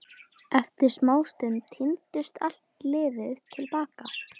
Eftir smástund tíndist allt liðið til baka.